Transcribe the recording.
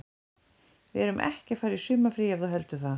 Við erum ekki að fara í sumarfrí ef þú heldur það.